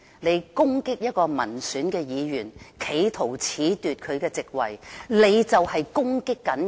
你攻擊一位民選議員，企圖褫奪他的席位，你便是在攻擊人民。